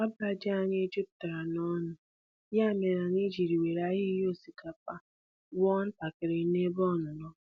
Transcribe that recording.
Ọba ji anyị jupụtara n'ọnụ, ya mere anyị ji were ahịhịa osikapa wuo ntakịrị ebe ọnụnọ.